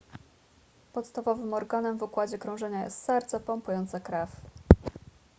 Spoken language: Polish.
podstawowym organem w układzie krążenia jest serce pompujące krew